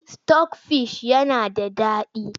Sitok fish yana da daɗi.